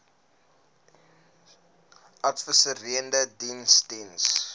adviserende diens diens